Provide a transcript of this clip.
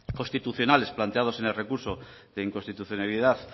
constitucionales planteados en el recurso de inconstitucionalidad